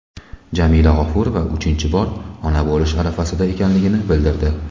Jamila G‘ofurova uchinchi bor ona bo‘lish arafasida ekanligini bildirdi.